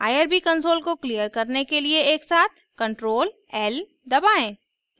irb console को clear करने के लिए एकसाथ ctrl l दबाएं